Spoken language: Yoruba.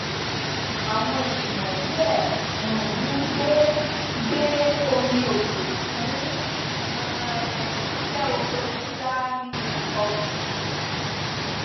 àwọn ènìyàn díẹ um gbe gbe omi òjò fún um iṣẹ oko dídá nínú ọgbà